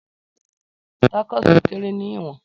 Tacos kere ni iwọn